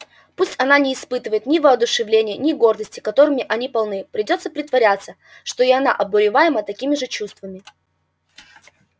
пусть она не испытывает ни воодушевления ни гордости которыми они полны придётся притворяться что и она обуреваема такими же чувствами